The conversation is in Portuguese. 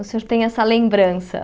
O senhor tem essa lembrança.